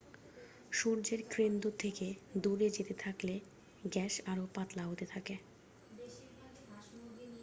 সূর্যের কেন্দ্র থেকে দূরে যেতে থাকলে গ্যাস আরও পাতলা হতে থাকে